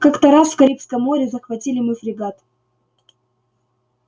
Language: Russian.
как-то раз в карибском море захватили мы фрегат